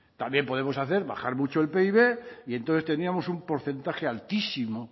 también podemos hacer bajar mucho el pib y entonces tendríamos un porcentaje altísimo